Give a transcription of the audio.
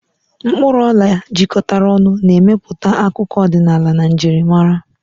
Mkpuru ola jikọtara ọnụ, na-emepụta akụkọ ọdịnala na njirimara.